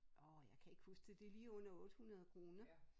Åh jeg kan ikke huske det det lige under 800 kroner